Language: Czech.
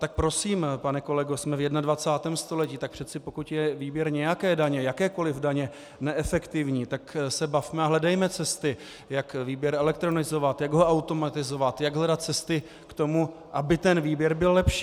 Tak prosím, pane kolego, jsme v 21. století, tak přece pokud je výběr nějaké daně, jakékoliv daně, neefektivní, tak se bavme a hledejme cesty, jak výběr elektronizovat, jak ho automatizovat, jak hledat cesty k tomu, aby ten výběr byl lepší.